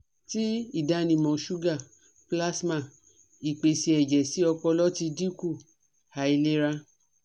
Ti idanimọ suga Plasma, ipese ẹjẹ si ọpọlọ ti dinku, ailera